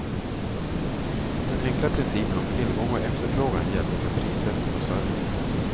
Den enkla principen om tillgång och efterfrågan gällde för prissättning och service.